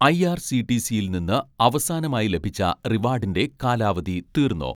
ഐ.ആർ.സി.ടി.സിയിൽ നിന്ന് അവസാനമായി ലഭിച്ച റിവാഡിൻ്റെ കാലാവധി തീർന്നോ?